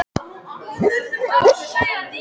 Hver er svalasti knattspyrnustjórinn?